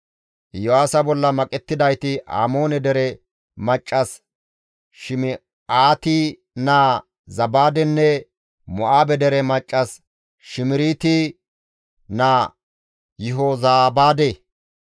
Iyo7aasa bolla maqettidayti Amoone dere maccas Shim7aati naa Zabaadenne Mo7aabe dere maccas Shimiriiti naa Yihozabaade.